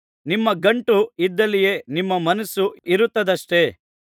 ನಿಮ್ಮ ಗಂಟು ಇದ್ದಲ್ಲಿಯೇ ನಿಮ್ಮ ಮನಸ್ಸು ಇರುತ್ತದಷ್ಟೆ